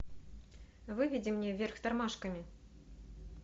выведи мне вверх тормашками